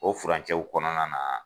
O furancɛw kɔnɔna na